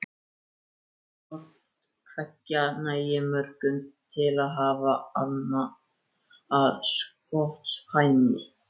Hvort tveggja nægði mörgum til að hafa hana að skotspæni.